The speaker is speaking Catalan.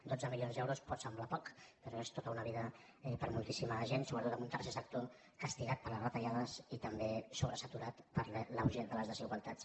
dotze milions d’euros pot semblar poc però és tota una vida per a moltíssima gent sobretot amb un tercer sector castigat per les retallades i també sobresaturat per la urgència de les desigualtats